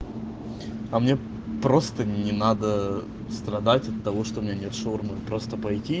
а мне просто не надо страдать от того что у меня нет шаурмы просто пойти